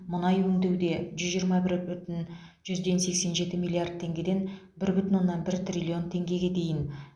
мұнай өңдеуде жүз жиырма бір бүтін жүзден сексен жеті миллард теңгеден бір бүтін оннан бір триллион теңгеге дейін